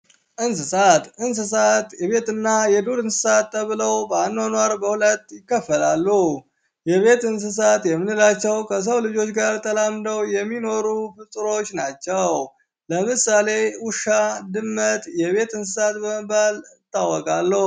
እንስሳት እንስሳት የቤት እና የዱር እንስሳት ተብለው በአኗኗር በሁለት ይከፈላሉ የቤት እንስሳት የምንላቸው ከሰው ልጆች ጋር ተላምደው የሚኖሩ ፍጡሮች ናቸው ለምሳሌ ውሻ፣ ድመት የቤት እንስሳት በመባል ይታወቃሉ።